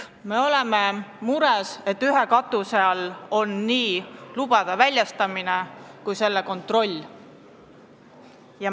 Me oleme mures, et ühe katuse all on nii lubade väljastamine kui ka selle kontroll.